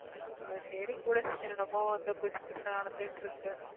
சரி விடு என்னென்னமோ வந்து புதுசு புதுசா நடந்துகிட்டிருக்கு